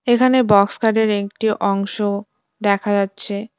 এখানে বক্স খাটের একটি অংশ দেখা যাচ্ছে।